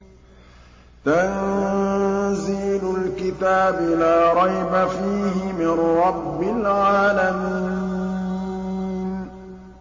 تَنزِيلُ الْكِتَابِ لَا رَيْبَ فِيهِ مِن رَّبِّ الْعَالَمِينَ